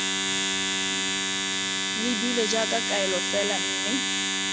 lebilwe jaaka kaelo fela mme